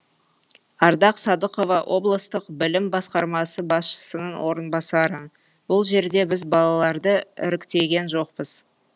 ардақ садықова облыстық білім басқармасы басшысының орынбасары бұл жерде біз балаларды іріктеген жоқпыз